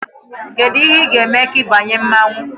Kedu ihe ị ga-eme ka ị banye mmanwụ?